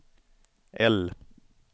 L